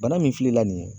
Bana min filɛ la nin ye